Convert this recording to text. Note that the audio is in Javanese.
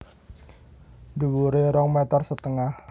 Dhuwuré rong meter setengah